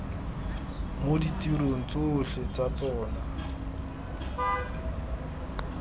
mo ditirong tsotlhe tsa tsona